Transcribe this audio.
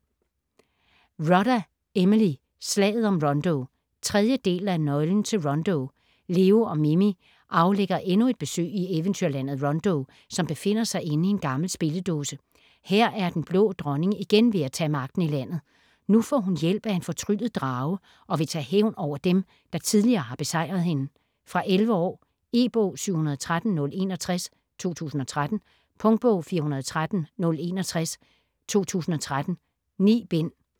Rodda, Emily: Slaget om Rondo 3. del af Nøglen til Rondo. Leo og Mini aflægger endnu et besøg i eventyrlandet, Rondo, som befinder sig inde i en gammel spilledåse. Her er Den Blå Dronning igen ved at tage magten i landet. Nu får hun hjælp af en fortryllet drage og vil tage hævn over dem, der tidligere har besejret hende. Fra 11 år. E-bog 713061 2013. Punktbog 413061 2013. 9 bind.